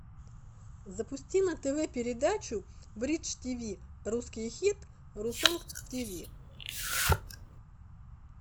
запусти на тв передачу бридж тиви русский хит русонг тиви